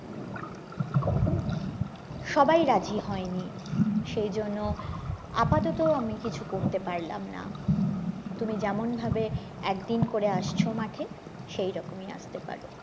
সবাই রাজি হয়নি সে জন্য আপাতত আমি কিছু করতে পারলাম না তুমি যেমন ভাবে একদিন করে আসছো মাঠে সেইরকমী আস্তে পারো